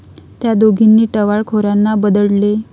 त्या दोघींनी टवाळखोरांना बदडले